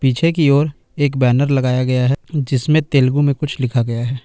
पीछे की ओर एक बैनर लगाया गया है जिसमें तेलुगु में कुछ लिखा गया है।